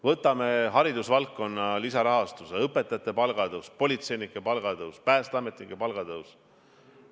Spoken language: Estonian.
Võtame haridusvaldkonna lisarahastuse, õpetajate palga tõusu, politseinike palga tõusu, päästeametnike palga tõusu.